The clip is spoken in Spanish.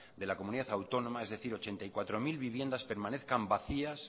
de la comunidad autónoma es decir ochenta y cuatro mil viviendas permanezcan vacías